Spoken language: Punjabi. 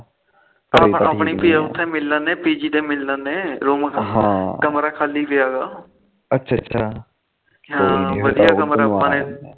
ਆਪਾ ਆਪਣੀ ਉਥੇ ਮਿਲ ਲੈਂਦੇ p g ਤੇ ਮਿਲ ਲੈਂਦੇ ਰੂਮ ਕਮਰਾ ਖਾਲੀ ਪਿਆ ਅੱਛਾ ਅੱਛਾ ਵਧੀਆਂ ਕਮਰਾ